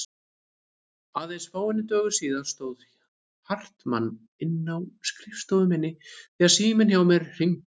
Aðeins fáeinum dögum síðar stóð Hartmann inni á skrifstofu minni þegar síminn hjá mér hringdi.